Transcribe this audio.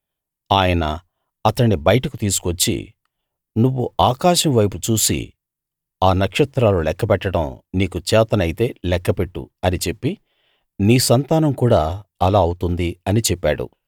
ఆయన అతణ్ణి బయటకు తీసుకువచ్చి నువ్వు ఆకాశం వైపు చూసి ఆ నక్షత్రాలు లెక్కపెట్టడం నీకు చేతనైతే లెక్కపెట్టు అని చెప్పి నీ సంతానం కూడా అలా అవుతుంది అని చెప్పాడు